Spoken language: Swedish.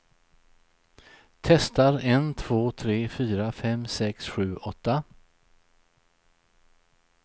Testar en två tre fyra fem sex sju åtta.